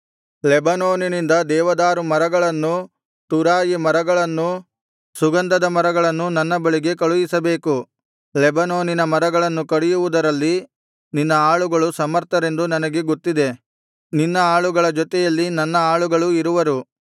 ಲೆಬನೋನಿನಿಂದ ದೇವದಾರು ಮರಗಳನ್ನೂ ತುರಾಯಿ ಮರಗಳನ್ನೂ ಸುಗಂಧದ ಮರಗಳನ್ನೂ ನನ್ನ ಬಳಿಗೆ ಕಳುಹಿಸಬೇಕು ಲೆಬನೋನಿನ ಮರಗಳನ್ನು ಕಡಿಯುವುದರಲ್ಲಿ ನಿನ್ನ ಆಳುಗಳು ಸಮರ್ಥರೆಂದು ನನಗೆ ಗೊತ್ತಿದೆ ನಿನ್ನ ಆಳುಗಳ ಜೊತೆಯಲ್ಲಿ ನನ್ನ ಆಳುಗಳೂ ಇರುವರು